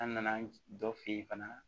An nana dɔ fɛ yen fana